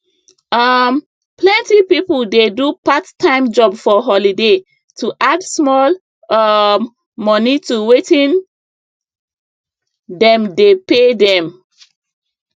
um plenty people dey do parttime job for holiday to add small um money to wetin dem dey pay them